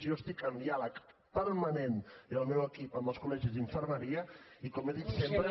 jo estic en diàleg permanent i el meu equip amb els col·legis d’infermeria i com he dit sempre